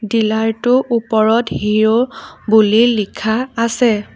ডিলাৰটো ওপৰত হিৰ' বুলি লিখা আছে।